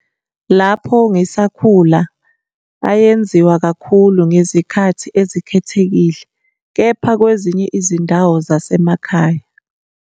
Lapho ngisakhula, ayenziwa kakhulu ngezikhathi ezikhethekile - kepha kwezinye izindawo zasemakhaya.